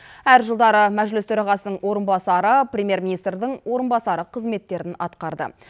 әр жылдары мәжіліс төрағасының орынбасары премьер министрдің орынбасары қызметтерін атқарды